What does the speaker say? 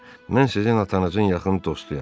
Mən sizin atanızın yaxın dostuyam.